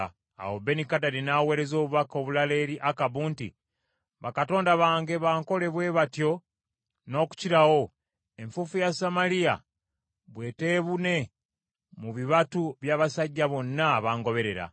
Awo Benikadadi n’aweereza obubaka obulala eri Akabu nti, “Bakatonda bankole bwe batyo n’okukirawo, enfuufu ya Samaliya bwe teebune mu bibatu by’abasajja bonna abangoberera.”